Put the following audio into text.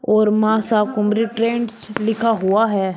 और मां शाकंभरी ट्रेंड्स लिखा हुआ है।